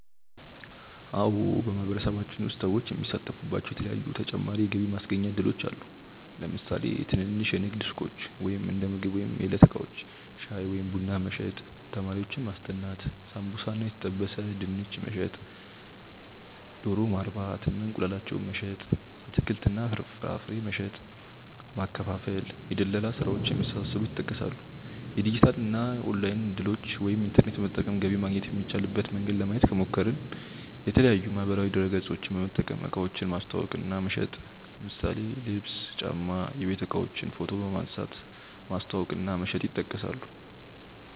አዎ በማህበረሰባችን ውስጥ ሰዎች የሚሳተፉባቸዉ የተለያዪ ተጨማሪ የገቢ ማስገኛ እድሎች አሉ። ለምሳሌ ትንንሽ የንግድ ሱቆች(እንደምግብ ወይም የዕለት እቃዎች) ፣ ሻይ ወይም ቡና መሸጥ፣ ተማሪዎችን ማስጠናት፣ ሳምቡሳ እና የተጠበሰ ድንች መሸጥ፣ ዶሮ ማርባት እና እንቁላላቸውን መሸጥ፣ አትክልት እና ፍራፍሬ መሸጥ እና ማከፋፈል፣ የድለላ ስራዎች የመሳሰሉት ይጠቀሳሉ። የዲጂታል እና ኦንላይን እድሎችን( ኢንተርኔት በመጠቀም ገቢ ማግኘት የሚቻልበት መንገድ) ለማየት ከሞከርን፦ የተለያዪ ማህበራዊ ድረገፆችን በመጠቀም እቃዎችን ማስተዋወቅ እና መሸጥ ለምሳሌ ልብስ፣ ጫማ፣ የቤት እቃዎችን ፎቶ በመንሳት ማስተዋወቅ እና መሸጥ ይጠቀሳሉ።